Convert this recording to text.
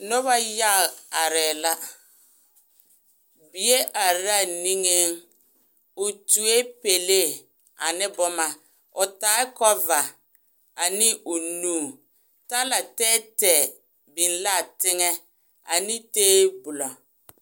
Noba yaga arɛɛ la bie are la a niŋeŋ o tuoe pɛlee ane boma o taa kɔva ane o nu talatɛɛtɛɛ biŋ l,a teŋɛ ane tabolɔ.